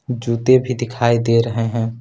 जूते भी दिखाई दे रहे हैं।